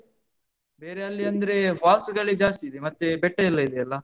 ಬೇರೆ ಅಲ್ಲಿ ಅಂದ್ರೆ falls ಗಳೇ ಜಾಸ್ತಿ ಇದೆ. ಮತ್ತೆ ಬೆಟ್ಟಾಯೆಲ್ಲ ಇದೆಯಲ್ಲ?